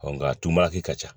nka tun b'a kɛ ka ca